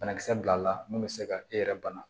Banakisɛ bilal'a la mun bɛ se ka e yɛrɛ bana